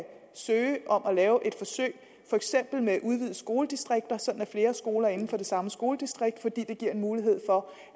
søge om at lave et forsøg for eksempel med udvidede skoledistrikter med flere skoler inden for det samme skoledistrikt fordi det giver en mulighed for